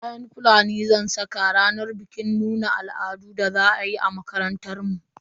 Kayan Fulani zan saka a ranar bikin nuna al'adun da za a yi a makarantar mu.